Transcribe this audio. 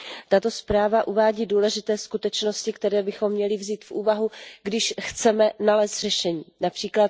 Tato zpráva uvádí důležité skutečnosti, které bychom měli vzít v úvahu, když chceme nalézt řešení, např.